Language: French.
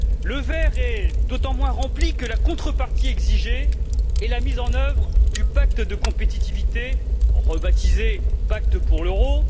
Le verre est d'autant moins rempli que la contrepartie exigée est la mise en œuvre du pacte de compétitivité rebaptisé pacte pour l'euro.